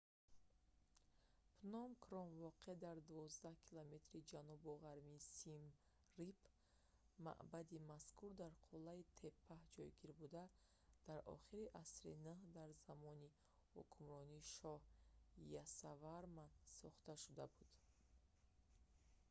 пном кром воқеъ дар 12-километри ҷанубу ғарби сим рип маъбади мазкур дар қуллаи теппа ҷойгир буда дар охири асри 9 дар замони ҳукмронии шоҳ ясоварман сохта шуда буд